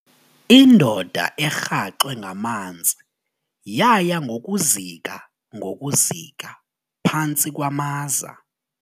Indoda erhaxwe ngamanzi yaya ngokuzika ngokuzika phantsi kwamaza.